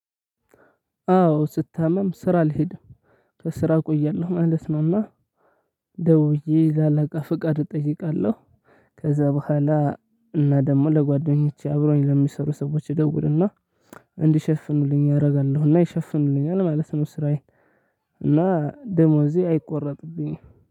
አዎ ስታመም ስራ አልሄድም ከስራ እቆያለሁ ማለት ነውና። ደውዬ ለአላቃ ፍቃድ እጠይቃለሁ። ከዛ በኋላ እና ደግሞ ለጓደኞቼ አብሮኝ ለሚሰሩ ሰዎች እደውልና እንዲሸፍኑልኝ አደርጋለሁና ይሸፍኑልኛል ማለት ነው። ስራዬን እና ደሞዜ አይቆረጥብኝም።